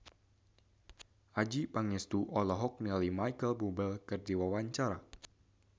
Adjie Pangestu olohok ningali Micheal Bubble keur diwawancara